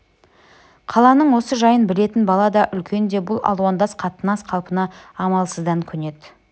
қаланың осы жайын білетін бала да үлкен де бұл алуандас қатынас қалпына амалсыздан көнеді